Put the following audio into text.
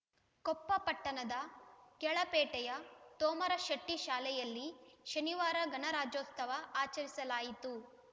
ಕೊಪ್ಪ ಪಟ್ಟಣದ ಕೆಳಪೇಟೆಯ ತೋಮರಶೆಟ್ಟಿಶಾಲೆಯಲ್ಲಿ ಶನಿವಾರ ಗಣರಾಜ್ಯೋತ್ಸವ ಆಚರಿಸಲಾಯಿತು